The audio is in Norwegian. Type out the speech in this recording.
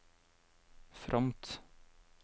fromt